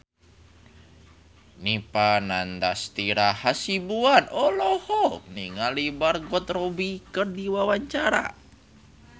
Dipa Nandastyra Hasibuan olohok ningali Margot Robbie keur diwawancara